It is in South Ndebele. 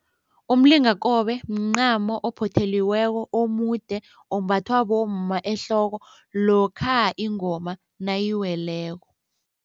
Umlingakobe mncamo ophotheliweko omude ombathwa bomma ehloko lokha ingoma nayiweleko.